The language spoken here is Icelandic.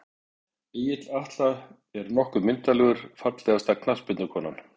Egill Atla er nokkuð myndarlegur Fallegasta knattspyrnukonan?